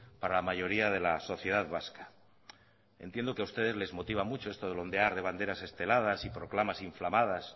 para la mayoría de la sociedad vasca entiendo que a ustedes les motiva mucho esto del ondear de banderas esteladas y proclamas inflamadas